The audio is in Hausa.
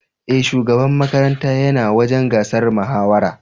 E, shugaban makaranta yana wajen gasar mahawarar.